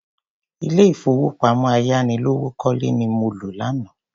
Ilé ìfowópamọ́ ayánilówókọ́lẹ́ ni mo lọ lánàá.